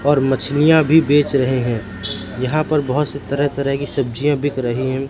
और मछलियां भी बेच रहे हैं यहां पर बहुत सी तरह तरह की सब्जियां बिक रही हैं।